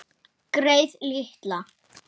Greyið litla!